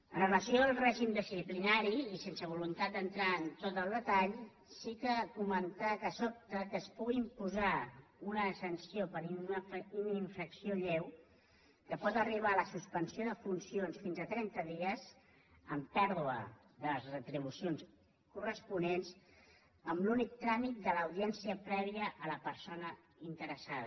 amb relació al règim disciplinari i sense voluntat d’entrar en tot el detall sí comentar que sobta que es pugui posar una sanció per una infracció lleu que pot arribar a la suspensió de funcions fins a trenta dies amb pèrdua de les retribucions corresponents amb l’únic tràmit de l’audiència prèvia a la persona inte·ressada